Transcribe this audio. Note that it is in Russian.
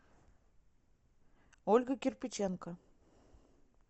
ольга кирпиченко